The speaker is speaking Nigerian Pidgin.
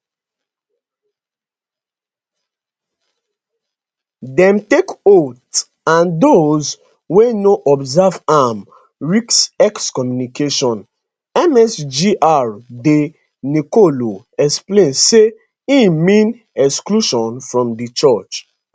dem take oath and those wey no observe am risk excommunication msgr de nicolo explain say e mean exclusion from di church